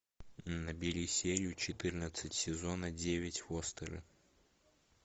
набери серию четырнадцать сезона девять фостеры